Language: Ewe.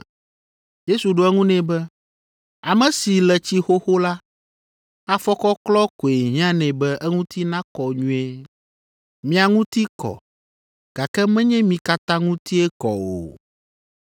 Yesu ɖo eŋu nɛ be, “Ame si le tsi xoxo la, afɔkɔklɔ koe hiã nɛ be eŋuti nakɔ nyuie. Mia ŋuti kɔ, gake menye mi katã ŋutie kɔ o.”